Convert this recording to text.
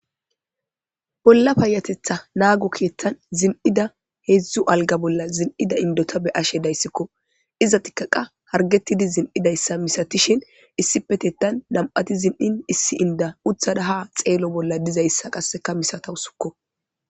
bolla payatetha naago kietan zin7ida heedzdzu alga bolla zin7ida indota be ashe dayssikko iza tikkaqa hargettidi zin7idayssa misatishin issi petettan nam7ati zin7in issi inda uthada ha xeelo bolla dizayssa qasseka misatawu sukko